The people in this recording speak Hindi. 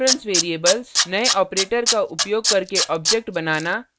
reference variables नये operator का उपयोग करके object बनाना